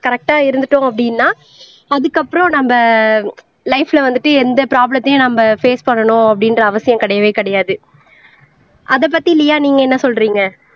கரெக்டா இருந்துட்டோம் அப்படின்னா அதுக்கப்புறம் நம்ம லைப்ல வந்துட்டு எந்த ப்ரோப்லேம்த்தையும் நம்ம பேஸ் பண்ணணும் அப்படின்ற அவசியம் கிடையவே கிடையாது அதைப் பத்தி லியா நீங்க என்ன சொல்றீங்க